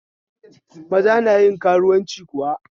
Maza nayin karuwanci kuwa?